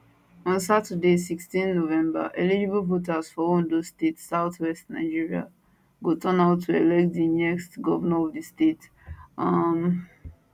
on saturday 16 november eligible voters for ondo state southwest nigeria go turnout to elect di next govnor of di state um